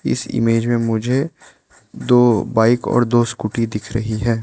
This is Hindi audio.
इस इमेज़ में मुझे दो बाइक और दो स्कूटी दिख रही है।